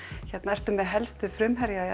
sértu með helstu frumherja